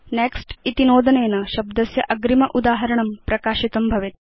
next इति नोदनेन शब्दस्य अग्रिम उदाहरणं प्रकाशितं भवेत्